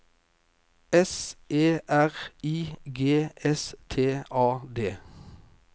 S E R I G S T A D